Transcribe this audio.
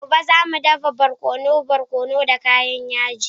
Gobe, za mu dafa barkono barkono da kayan yaji.